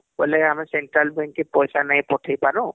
ବୋଇଲେ ଆମେ central bank କେ ପଇସା ନାଇଁ ପଠେଇ ପାରୁ